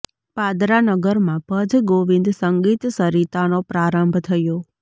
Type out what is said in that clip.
પાદરા નગરમાં ભજ ગોવિંદ સંગીત સરીતાનો પ્રારંભ થયો